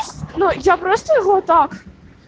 ну я просто его так